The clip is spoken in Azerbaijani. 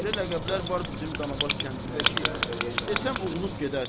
Elə ləqəblər var bizim Danabaş kəndində ki, desəm oğrunub gedərsən.